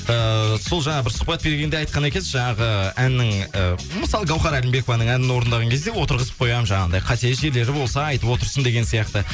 ііі сол жаңа бір сұхбат бергенде айтқан екенсіз жаңағы әннің ы мысалы гаухар әлімбекованың әнін орындаған кезде отырғызып қоямын жаңағындай қате жерлері болса айтып отырсын деген сияқты